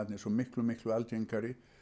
svo miklu miklu algengari